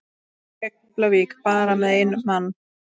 Keflavík bara með einn mann?